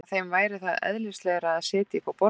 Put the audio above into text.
Nema þeim væri það eðlislægara að sitja uppi á borðum?